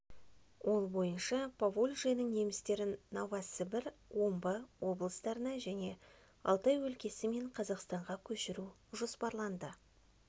ол бойынша поволжьенің немістерін новосібір омбы облыстарына және алтай өлкесі мен қазақстанға көшіру жоспарланды